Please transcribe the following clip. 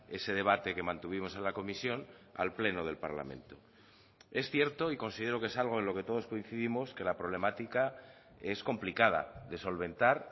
ese debate que mantuvimos en la comisión al pleno del parlamento es cierto y considero que es algo en lo que todos coincidimos que la problemática es complicada de solventar